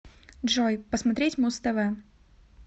джой посмотреть муз тв